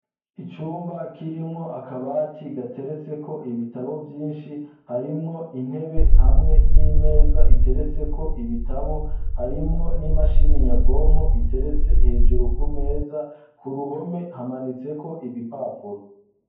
Icumba kirimwo akabati gateretseko ibitabo vyinshi harimwo intebe hamwe n'imeza iteretseko ibitabo, harimwo n'imashini nyabwonko iteretse hejuru ku meza, ku ruhome hamanitseko ibipapuro.